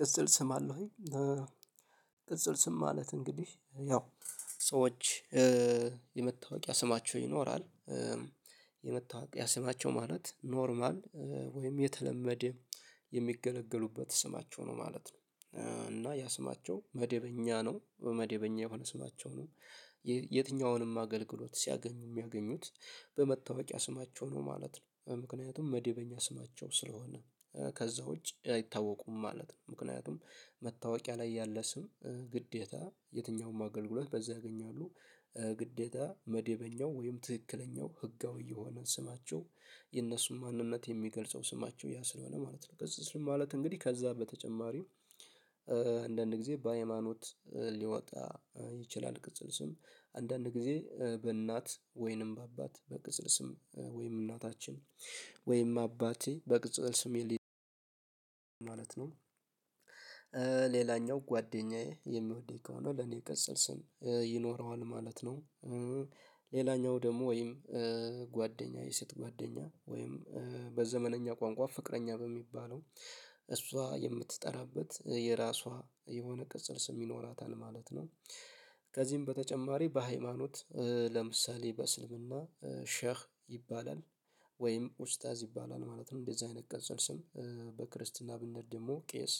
ቅጽል ስም አለህ ወይ? ቅጽል ስም ማለት እንግዲህ ያው ሰዎች የመታወቂያ ስማቸው ይኖራል የመታወቂያ ስማቸው ማለት ኖርማል ወይም የተለመደ የሚገለገሉበት ስማቸው ነው ማለት ነው። እና ያ ስማቸው መደበኛ ነው በመደበኛ የሆነ ስማቸው ነው ይህ የትኛውንም አገልግሎት ሲያገኙ የሚያገኙት በመታወቂያ ስማቸው ነው ማለት ነው። ምክንያቱም መዴበኛ ስማቸው ስለሆነ ከዛ ውጪ አይታወቁም ማለት ነው። ምክንያቱም መታወቂያ ላይ ያለ ስም ግዴታ የትኛውም አገልግሎት በዛ ያገኛሉ። ግዴታ መደበኛው ወይም ትክክለኛው ህጋዊ የሆነ ስማቸው የእነሱን ማንነት የሚገልጸው ስማቸው ያ ስለሆነ ማለት ነው። ቅጽል ስም ማለት እንግዲህ ከዛ በተጨማሪም አንዳንድ ጊዜ በሃይማኖት ሊወጣ ይችላል ቅጽል ስም አንዳንድ ጊዜ በእናት ወይንም በአባት በቅጽል ስም ወይንም እናታችን ወይንም አባቴ በቅጽል ስም የሊድ ማለት ነው። ሌላኛው ጓደኛዬ የሚወድኝ ከሆነ ለኔ ቅጽል ስም ይኖረዋል ማለት ነው። ሌላኛው ደግሞ ወይም ጓደኛ የሴት ጓደኛ ወይም በዘመናዊ ቋንቋ ፍቅረኛ በሚባለው እሷ የምትጠራበት የራሷ የሆነ ቅጽል ስም ይኖራታል ማለት ነው። ከዚህም በተጨማሪ በሃይማኖት ለምሳሌ በእስልምና ሸህ ይባላል ወይም ኡስታዝ ይባላል ማለትም እንደዚህ አይነት ቅጽል ስም በክርስትና ብነሄድ ደግሞ ቄስ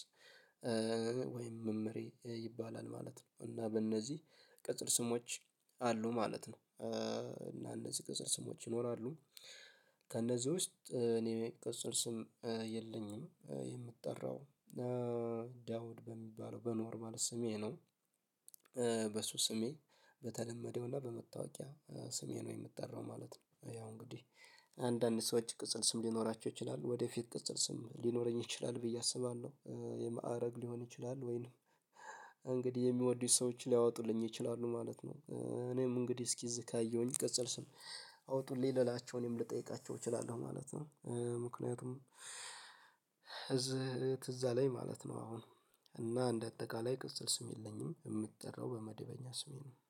ወይም መምህሬ ይባላል ማለት ነው። እና በእነዚህ ቅጽል ስሞች አሉ ማለት ነው። እና እነዚህ ቅጽል ስሞች ይኖራሉ ከእነዚህ ውስጥ እኔ ቀፅል ስም የለኝም የምጠራው ዳውድ በሚባለው በኖርማል ስሜ ነው። በሱ ስሜ በተለመደውና በመታወቂያ ስሜ ነው የምጠራው ማለት ነው። ያው እንግዲህ አንዳንድ ሰዎች ቅጽል ስም ሊኖራቸው ይችላሉ ወደፊት ቅጽል ስም ሊኖረኝ ይችላል ብዬ አስባለሁ የማዕረግ ሊሆን ይችላል ወይንም እንግዲህ የሚወዱት ሰዎች ሊያወጡልኝ ይችላሉ ማለት ነው። እኔም እንግዲህ እስኪ እዝ ካየሁኝ ቅጸል ስም አወጡልኝ ልላቸው እኔም ልጠይቃቸው እችላለሁ ማለት ነው። ምክንያቱም ትዝ ትዝ አለኝ ማለት ነው። አሁን እና እንደ አጠቃላይ ቅጽል ስም የለኝም የምትጠራው በመደበኛ ስሜ ነው